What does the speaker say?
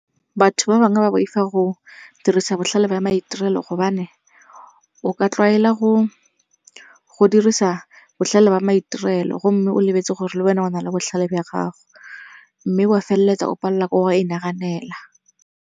Batho ba bangwe ba boifa go dirisa botlhale ba maitirelo gobane o ka tlwaela go dirisa botlhale ba maitirelo gomme o lebetse gore le wena o na le botlhale ba gago, mme wa feleletsa o palelwa ke go inaganela.